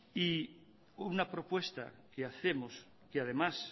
y una propuesta que hacemos que además